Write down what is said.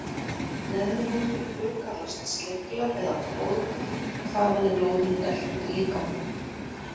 Neðri hólfin tvö kallast sleglar eða hvolf og þaðan er blóðinu dælt út í líkamann.